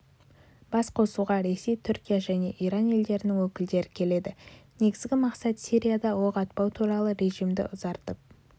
басқосуға ресей түркия және иран елдерінің өкілдері келеді негізгі мақсат сирияда оқ атпау туралы режимді ұзартып